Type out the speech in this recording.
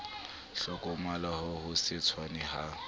hlokomoloha ho se tshwane ha